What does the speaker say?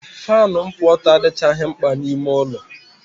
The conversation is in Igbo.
Faanụ nkwụ ọtọ adịchaghị mkpa n'ime ụlọ.